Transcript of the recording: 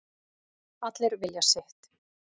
Allir vilja sitt